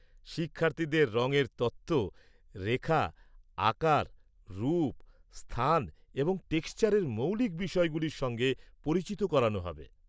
শিক্ষার্থীদের রঙের তত্ত্ব, রেখা, আকার, রূপ, স্থান এবং টেক্সচারের মৌলিক বিষয়গুলির সঙ্গে পরিচিত করানো হবে।